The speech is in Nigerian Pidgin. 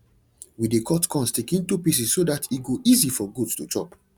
we dey cut corn stick into pieces so dat e go easy for goat to chop